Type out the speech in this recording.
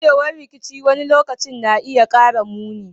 Gujewar rikici wani lokaci na iya kara muni.